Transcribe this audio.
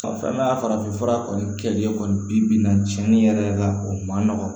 Ɔ fɛn min y'a farafin fura kɔni kɛlen kɔni bi-bi in na cɛni yɛrɛ la o ma nɔgɔn